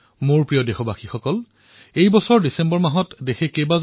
মোৰ মৰমৰ দেশবাসীসকল এই ডিচেম্বৰত আমি কিছুমান অসাধাৰণ দেশবাসীক হেৰুৱালো